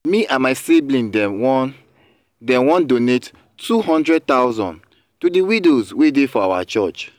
me and my sibling dem wan dem wan donate two hundred thousand to the widows wey dey for our church